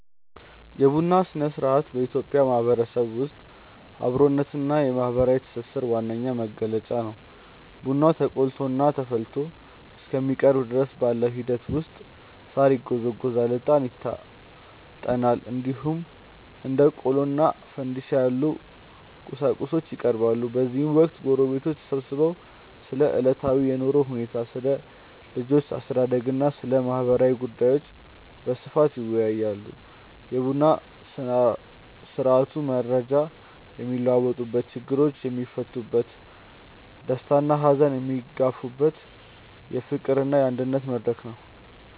የቡና ሥነ-ሥርዓት በኢትዮጵያ ማህበረሰብ ውስጥ የአብሮነትና የማህበራዊ ትስስር ዋነኛ መገለጫ ነው። ቡናው ተቆልቶና ተፈልቶ እስከሚቀርብ ድረስ ባለው ሂደት ውስጥ ሳር ይጎዘጎዛል፣ እጣን ይታጠናል፣ እንዲሁም እንደ ቆሎና ፋንድሻ ያሉ ቁርሶች ይቀርባሉ። በዚህ ወቅት ጎረቤቶች ተሰብስበው ስለ ዕለታዊ የኑሮ ሁኔታ፣ ስለ ልጆች አስተዳደግና ስለ ማህበራዊ ጉዳዮች በስፋት ይወያያሉ። የቡና ስርአቱ መረጃ የሚለዋወጥበት፣ ችግሮች የሚፈቱበትና ደስታና ሀዘን የሚጋሩበት የፍቅርና የአንድነት መድረክ ነው።